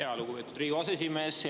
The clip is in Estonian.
Jaa, lugupeetud Riigikogu aseesimees!